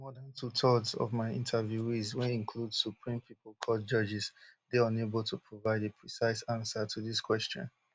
more dan twothirds of my interviewees wey include supreme people court judges dey unable to provide a precise ansa to dis question